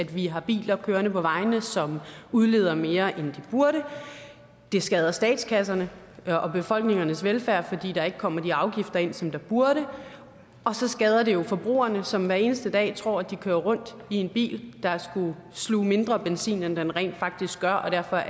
vi har biler kørende på vejene som udleder mere end de burde det skader statskasserne og og befolkningernes velfærd fordi der ikke kommer de afgifter ind som der burde og så skader det jo forbrugerne som hver eneste dag tror at de kører rundt i en bil der sluger mindre benzin end den rent faktisk gør og derfor